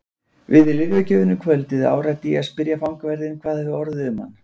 Við lyfjagjöfina um kvöldið áræddi ég að spyrja fangavörðinn hvað orðið hefði um hann.